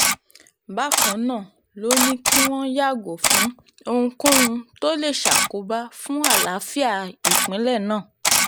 bákan náà ló ní kí wọ́n yàgò fún ohunkóhun tó lè ṣàkóbá fún àlàáfíà ìpínlẹ̀ náà